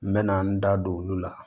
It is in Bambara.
N bɛ na n da don olu la